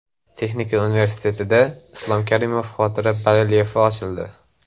Texnika universitetida Islom Karimov xotira barelyefi ochildi .